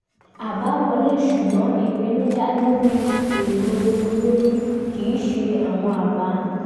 àbá wọlé ṣùgbọ́n ìpinnu dá lórí èrò olórí kì í ṣe àwọn abá